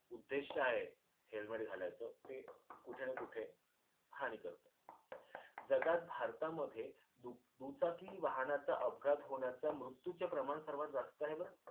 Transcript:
उद्देश्य आहे helmet घालायचं ते कुठे ना कुठे हानी करत. जगात भारतामध्ये दु दुचाकी वाहनाचा अपघात होण्याच मृत्यूचे प्रमाण सर्वात जास्त आहे बरं.